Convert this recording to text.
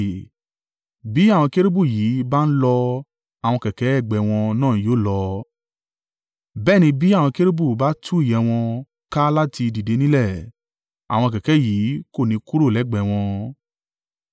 Bí àwọn kérúbù yìí bá ń lọ àwọn kẹ̀kẹ́ ẹgbẹ́ wọn náà yóò lọ; bẹ́ẹ̀ ni bí àwọn kérúbù bá tú ìyẹ́ wọn ká láti dìde nílẹ̀, àwọn kẹ̀kẹ́ yìí kò ní kúrò lẹ́gbẹ̀ẹ́ wọn.